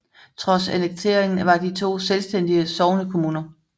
Trods annekteringen var de to selvstændige sognekommuner